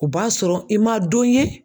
O b'a sɔrɔ i ma don ye